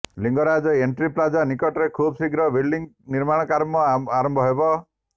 Lingaraj entry plaza ନିକଟରେ ଖୁବଶୀଘ୍ର building ନିର୍ମାଣ କାମ ଆରମ୍ଭ ହେବ